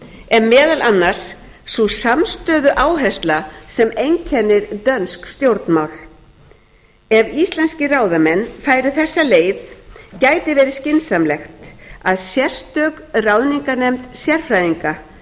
er meðal annars sú samstöðuáhersla sem einkennir dönsk stjórnmál ef íslenskir ráðamenn færu þessa leið gæti verið skynsamlegt að sérstök ráðninganefnd sérfræðinga